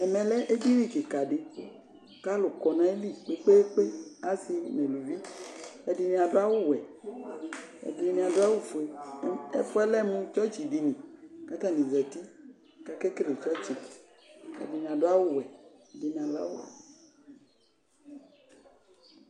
Ɛmɛlɛ eɖini kikaɖi, k'alʋ kɔ n'ayili kpekpeAasi nʋ aalʋviƐɖini aɖʋ awuwɛ, ɛɖini aɖʋ awu fueleƐfuɛ lɛ mʋ chɔchiɖini k'atani zitiK'akekele chɔchi Ɛɖini aɖʋ awu wuɛ, ɛɖini awu fuele